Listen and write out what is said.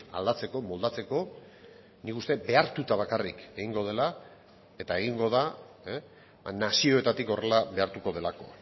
aldatzeko moldatzeko nik uste dut behartuta bakarrik egingo dela eta egingo da nazioetatik horrela behartuko delako